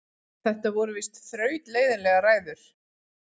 Þetta voru víst þrautleiðinlegar ræður.